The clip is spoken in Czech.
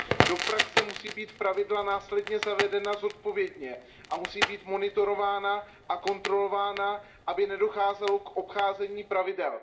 Do praxe musí být pravidla následně zavedena zodpovědně a musí být monitorována a kontrolována, aby nedocházelo k obcházení pravidel.